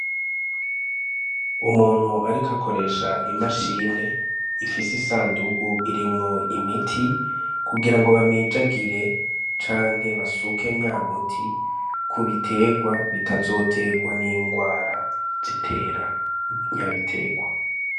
Umuntu arikoakoresha imashine ifise isandugu irimwo imiti kugira ngo bamijagire canke basuke nyamuti kubiterwa bitazoterwa n'ingwara zitera nyabiterwa.